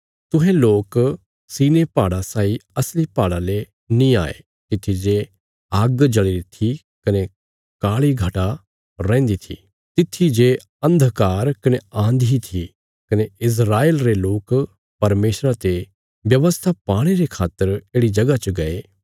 तुहें लोक सिनै पहाड़ा साई असली पहाड़ा ले नीं आये तित्थी जे आग्ग जल़ीरी थी कने काल़ी घटा रैहन्दी थी तित्थी जे अन्धकार कने आन्धी थी कने इस्राएल रे लोक परमेशरा ते व्यवस्था पाणे रे खातर येढ़ि जगह च गये